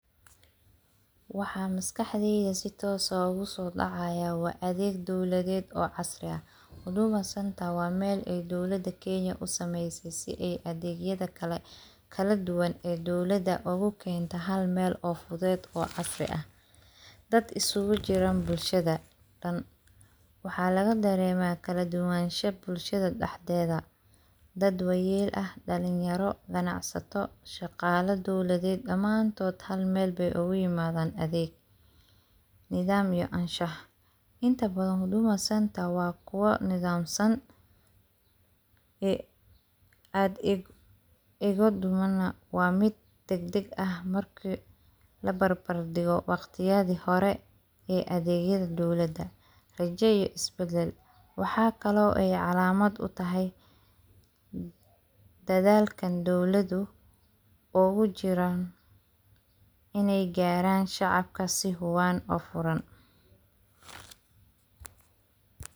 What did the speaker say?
Waxaa maskaxdeyda si toos ah ugu soo dhacaaya waa adeeg dowladeed oo casri ah, huduma centre waa meel ey dowlada Kenya usameysey si adeegyada kala duwan ee dowlada ugu keento halmeel oo fudeed oo casri ah, dad isugu Jira bulshada dhan waxaa Laga dareemaa kala duwanansha bulshada dhaxdeeda, dad waayeel ah, dhalinyaro, ganacsato, shaqaala dowladeed dhamaantood halmeel bey ugu imadaan adeeg, nidaam iyo anshax intabadan huduma centre waa kuwo nidaamsan, adeegodana waa mid degdeg ah markii labarbardhigo waqtiyadii hore ee adeegyada dowlada, rajo iyo isbadal, waxaa kale oo calaamad utahay dadaalkan dowladu ugu jiraan iney garaan shacabka si huban oo furan.